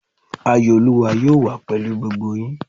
Ayọ̀ olúwa yóò wà pèlú gbogbo yín